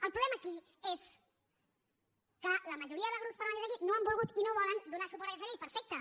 el problema aquí és que la majoria de grups parlamentaris aquí no han volgut i no volen donar suport a aquesta llei perfecte